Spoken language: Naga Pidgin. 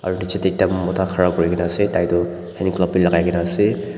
aro nije de ekta mota ghara kuri kina ase tai tu hand glove b lagai kina ase.